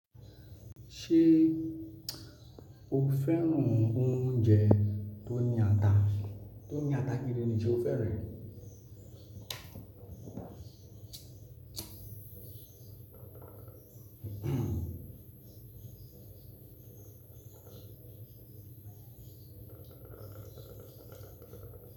Ṣé o fẹ́ràn oúnjẹ tó ní ata? Tó ní ata gidi ni ṣé o fẹ́ràn rẹ̀?